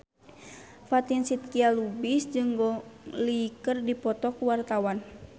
Fatin Shidqia Lubis jeung Gong Li keur dipoto ku wartawan